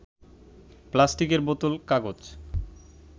প্লাস্টিকের বোতল, কাগজ